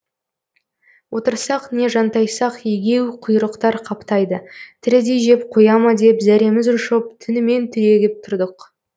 отырсақ не жантайсақ егеуқұйрықтар қаптайды тірідей жеп қоя ма деп зәреміз ұшып түнімен түрегеп тұрдық